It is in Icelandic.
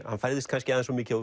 hann færðist kannski aðeins of mikið